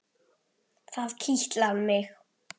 Það kitlar mig.